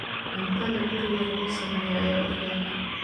Cuntada guriga lagu sameeyo ayaa ugu fiican.